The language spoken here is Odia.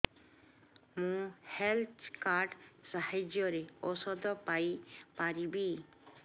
ମୁଁ ହେଲ୍ଥ କାର୍ଡ ସାହାଯ୍ୟରେ ଔଷଧ ପାଇ ପାରିବି